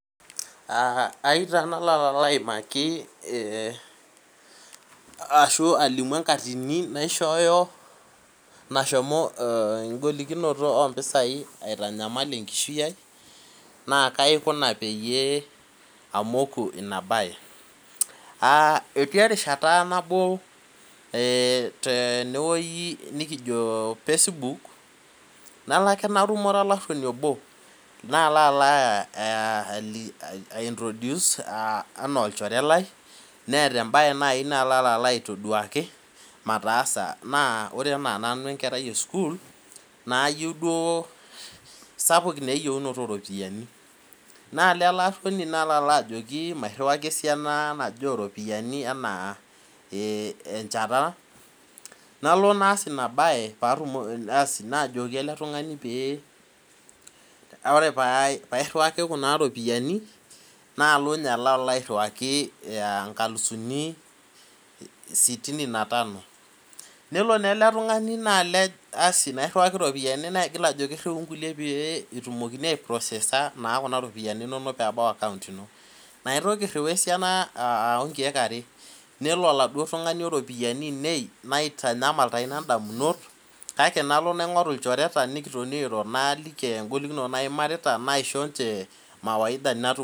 Ayieu taa naalo aimaki ashu alimu enkatini naishoyoo, nashomo engolikinoto oo mpisai aitanyamal enkishui ai, naaa kaji aikuna peeyie amoku inabaie etii erishata naboo tenewueji najiitoo facebook naaloo akee natu, ure olaruoni oboo naloo aloo aintroduce enoo olchoree lai naloo autakii maataasa na koree enaa nanu enkerei ee sukuul nayieu duoo naa sapuk naa eyieunoto oorropiyiani naloo elee aruoni naloo alo ajoki esiana najoo oropiyiani nijoo encheta naloo naas ina bae asi paa jokii ele tungani koree peyie airiwakii kuna ropiyini peyiee aloo ninye aloo airiwakii' inkalufuni sitini na tanu neloo naa ele tungani naalej nairiwakii ropiyiani nejoo riuu nkuliek peyyiee etumiokini aii prosesaa inkulie peyiee ebau account ino naitoki airiu esian abaya nkeek aree neloo na ele tungani' oo ropiyiani ainei naitanyamal taa inabae kake nalo naingoru' ilchoreta naishooo ]cs]mawaidha.